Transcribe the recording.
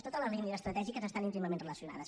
totes les línies estratègiques estan íntimament relacionades